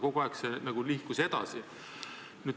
Kogu aeg see nagu nihkus edasi.